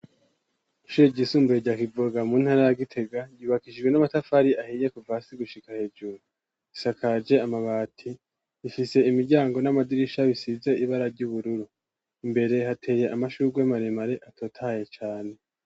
ishure ryisumbuye rya kivoga mu ntara ya gitega ryubakijwe n'amatafari ahiye kuva hasi gushika hejuru. Isakaje amabati, ifise imiryango n'amadirisha bisize ibara ry'ubururu. Imbere hateye amashugwe maremare atotahaye cane.